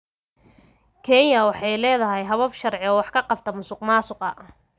Kenya waxay leedahay habab sharci oo wax ka qabta musuqmaasuqa.